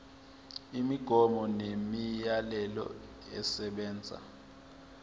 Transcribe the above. imigomo nemiyalelo esebenza